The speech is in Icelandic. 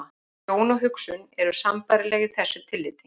Sjón og hugsun eru sambærileg í þessu tilliti.